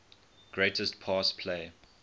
greatest pass play